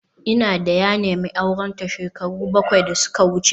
Ina da ya nemi aurenta shekaru bakwai da suka wuce